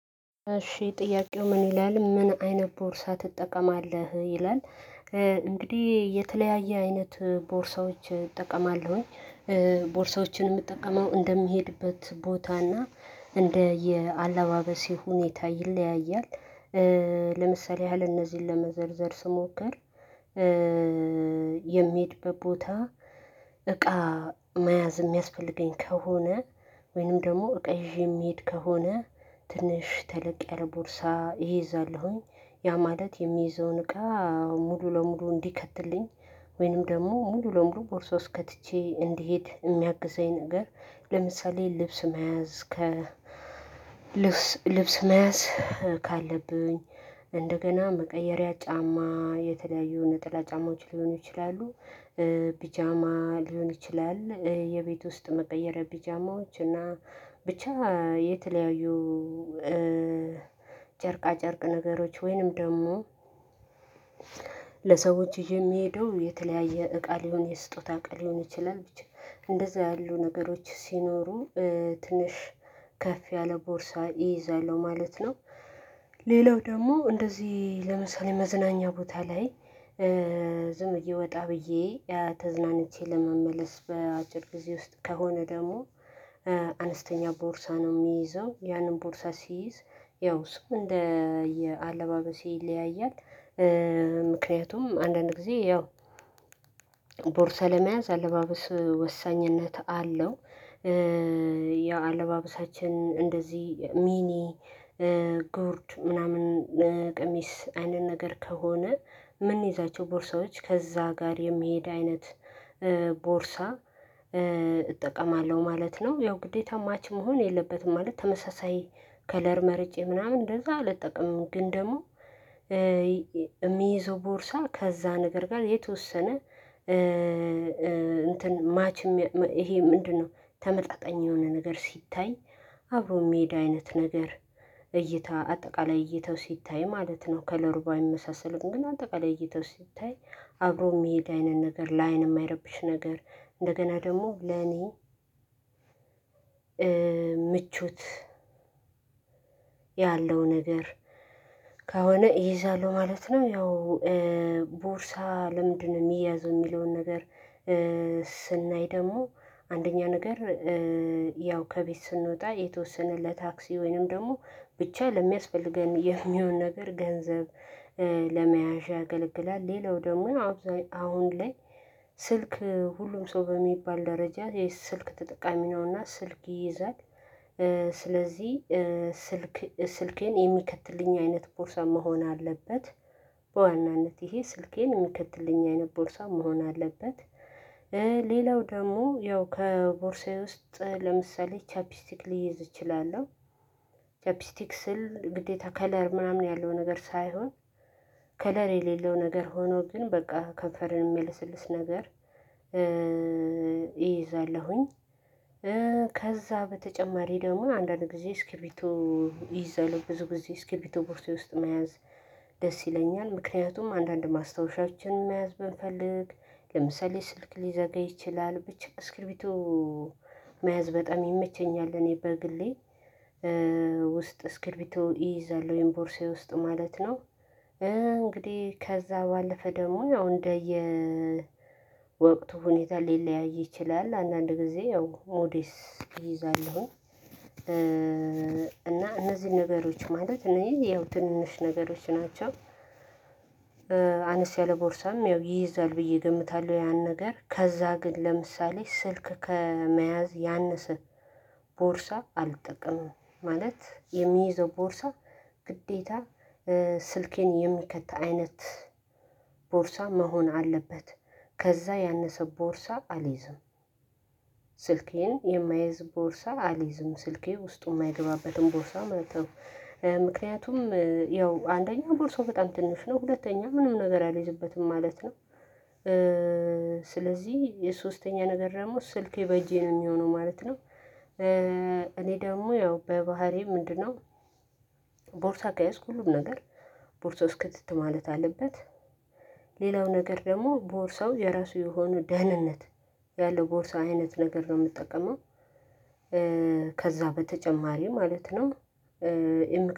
እሺ ጥያቄው ምን ይላል? ምን አይነት ቦርሳ ትጠቀማለህ ይላል እንግዲህ የተለያየ አይነት ቦርሳዎች እጠቀማለሁኝ። ቦርሳዎችን የምጠቀመው እንደምሄድበት ቦታ እና እንደየአለባበሴ ሁኔታ ይለያያል። ለምሳሌ ያህል እነዚህን ለመዘርዘር ስሞክር። የምሄድበት ቦታ እቃ መያዝ የሚያስፈልገኝ ከሆነ ወይንም ደግሞ እቃ ይዤ የምሄድ ከሆነ ትንሽ ተለቅ ያለ ቦርሳ እይዛለሁኝ። ያ ማለት የምይዘውን እቃ ሙሉ ለሙሉ እንዲከትልኝ ወይንም ደግሞ ሙሉ ለሙሉ ቦርሶ ውስጥ ከትቼ እንድሄድ የሚያግዘኝ ነገር። ለምሳሌ ልብስ መያዝ ከ ልብስ መያዝ ካለብኝ እንደገና መቀየሪያ ጫማ የተለያዩ ነጠላ ጫማዎች ሊሆኑ ይችላሉ። ፒጃማ ሊሆን ይችላል የቤት ውስጥ መቀየሪያ ቢጃማዎች እና ብቻ የተለያዩ። ጨርቃ ጨርቅ ነገሮች ወይንም ደግሞ ለሰዎች ይዤ የምሄደው የተለያየ እቃ ሊሆን የስጦታ እቃ ሊሆን ይችላል ብቻ። እንደዛ ያሉ ነገሮች ሲኖሩ ትንሽ ከፍ ያለ ቦርሳ እይዛለሁ ማለት ነው። ሌላው ደግሞ እንደዚህ ለምሳሌ መዝናኛ ቦታ ላይ ዝም ብዬ ወጣ ብዬ ተዝናንቼ ለመመለስ በአጭር ጊዜ ውስጥ ከሆነ ደግሞ አነስተኛ ቦርሳ ነው የምይዘው ያንን ቦርሳ ስይዝ ያው እሱ እንደየአለባበሴ ይለያያል። ምክንያቱም አንዳንድ ጊዜ ያው ቦርሳ ለመያዝ አለባበስ ወሳኝነት አለው። ያ አለባበሳችን እንደዚህ ሚኒ ጉርድ ምናምን ቀሚስ አይነት ነገር ከሆነ ምንይዛቸው ቦርሳዎች ከዛ ጋር የሚሄድ አይነት ቦርሳ እጠቀማለሁ ማለት ነው። ያው ግዴታ ማች መሆን የለበትም ማለት ተመሳሳይ ከለር መርጬ ምናምን እንደዛ አልጠቀምም። ግን ደግሞ እምይዘው ቦርሳ ከዛ ነገር ጋር የተወሰነ እንትን ማች ይሄ ምንድን ነው? ተመጣጣኝ የሆነ ነገር ሲታይ አብሮ የሚሄድ አይነት ነገር እይታ አጠቃላይ እይታው ሲታይ ማለት ነው ከለሩ ባይመሳሰልም ግን አጠቃላይ እይታው ሲታይ አብሮ የሚሄድ አይነት ነገር ለአይን የማይረብሽ ነገር። እንደገና ደግሞ ለኔ ምቾት ያለው ነገር ከሆነ እይዛለው ማለት ነው። ያው ቦርሳ ለምንድን ነው የሚያዘው የሚለውን ነገር? ስናይ ደግሞ አንደኛ ነገር ያው ከቤት ስንወጣ የተወሰነ ለታክሲ ወይንም ደግሞ ብቻ ለሚያስፈልገን የሚሆን ነገር ገንዘብ ለመያዣ ያገለግላል። ሌላው ደግሞ ያው አሁን ላይ ስልክ ሁሉም ሰው በሚባል ደረጃ የስልክ ተጠቃሚ ነው። እና ስልክ ይይዛል። ስለዚህ ስልክ ስልኬን የሚከትልኝ አይነት ቦርሳ መሆን አለበት። በዋናነት ይሄ ስልኬን የሚከትልኝ አይነት ቦርሳ መሆን አለበት። ሌላው ደግሞ ያው ከቦርሳዬ ውስጥ ለምሳሌ ቻፒስቲክ ልይዝ እችላለሁ። ቻፒስቲክ ስል ግዴታ ከለር ምናምን ያለው ነገር ሳይሆን ከለር የሌለው ነገር ሆኖ ግን በቃ ከንፈርን የሚያለሰልስ ነገር። እይዛለሁኝ። ከዛ በተጨማሪ ደግሞ ያው አንዳንድ ጊዜ እስክቢርቶ እይዛለሁ ብዙ ጊዜ እስክቢርቶ ቦርሳዬ ውስጥ መያዝ። ደስ ይለኛል ምክንያቱም አንዳንድ ማስታወሻዎችን መያዝ ብንፈልግ ለምሳሌ ስልክ ሊዘጋ ይችላል ብቻ እስክቢርቶ መያዝ በጣም ይመቸኛል። እኔ በግሌ ውስጥ እስክርቢቶ እይዛለሁ ወይም ቦርሳዬ ውስጥ ማለት ነው። እንግዲህ ከዛ ባለፈ ደግሞ ያው እንደየ ወቅቱ ሁኔታ ሊለያይ ይችላል አንዳንድ ጊዜ ያው ሞዴስ እይዛለሁኝ። እና እነዚህን ነገሮች ማለት እነዚህ ያው ትንንሽ ነገሮች ናቸው። አነስ ያለ ቦርሳም ያው ይይዛል ብዬ እገምታለሁ። ያን ነገር ከዛ ግን ለምሳሌ ስልክ ከመያዝ ያነሰ ቦርሳ አልጠቀምም። ማለት የምይዘው ቦርሳ ግዴታ ስልኬን የሚከት አይነት ቦርሳ መሆን አለበት። ከዛ ያነሰ ቦርሳ አልይዝም። ስልኬን የማይዝ ቦርሳ አልይዝም ስልኬ ውስጡ የማይገባበትን ቦርሳ ማለት ነው። ምክንያቱም ያው አንደኛው ቦርሳው በጣም ትንሽ ነው ሁለተኛው ምንም ነገር አልይዝበትም ማለት ነው። ስለዚህ የሶስተኛ ነገር ደግሞ ስልኬ በእጄ ነው የሚሆነው ማለት ነው። እኔ ደግሞ ያው በባህሪዬ ምንድን ነው? ቦርሳ ከያዝኩ ሁሉም ነገር ቦርሳ ውስጥ ክትት ማለት አለበት። ሌላው ነገር ደግሞ ቦርሳው የራሱ የሆነ ደህንነት ያለው ቦርሳ አይነት ነገር ነው የምጠቀመው። ከዛ በተጨማሪ ማለት ነው።